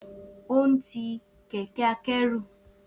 O si Titari kẹkẹ-akẹru.